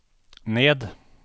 ned